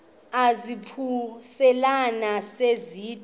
izaphuselana se zide